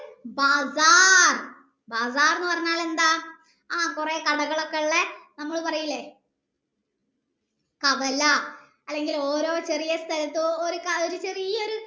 ബാഗാർ ബാഗാർ എന്നു പറഞ്ഞാൽ എന്താ ആ കൊറേ കടകളോടേ ഇല്ലേ നമ്മൾ പറയില്ലേ കവല അല്ലെങ്കിൽ ഓരോ ചെറിയ സ്ഥലത്തു ഒരു ചെറിയൊരു